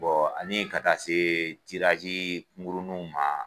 ani ka taa se murunuw ma.